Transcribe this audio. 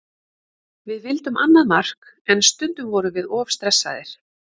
Við vildum annað mark en stundum vorum við of stressaðir.